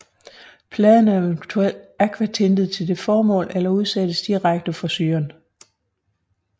Pladen er eventuelt akvatintet til det formål eller udsættes direkte for syren